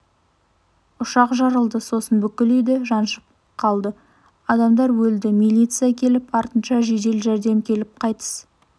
ұшақ жарылды сосын бүкіл үйді жаншып қалды адамдар өлді милиция келіп артынша жедел жәрдем келіп қайтыс